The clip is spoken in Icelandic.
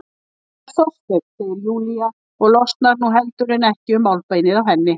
Það var Þorsteinn, segir Júlía og losnar nú heldur en ekki um málbeinið á henni.